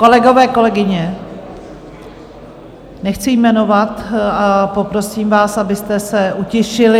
Kolegové, kolegyně, nechci jmenovat a poprosím vás, abyste se utišili.